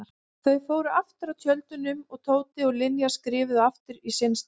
Þau fóru aftur að tjöldunum og Tóti og Linja skriðu aftur á sinn stað.